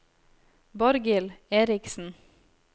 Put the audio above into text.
Borghild Erichsen